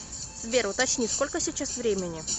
сбер уточни сколько сейчас времени